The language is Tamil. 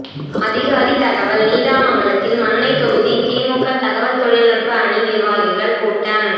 அதிகாரி தகவல் நீடாமங்கலத்தில் மன்னை தொகுதி திமுக தகவல் தொழில்நுட்ப அணி நிர்வாகிகள் கூட்டம்